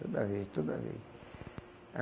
Toda vez, toda vez.